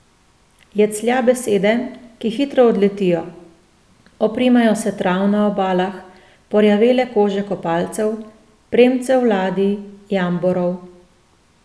Jeclja besede, ki hitro odletijo, oprimejo se trav na obalah, porjavele kože kopalcev, premcev ladij, jamborov.